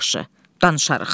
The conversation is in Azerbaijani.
Yaxşı, danışarıq.